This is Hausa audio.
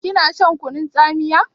Kina shan kunun tsamiya?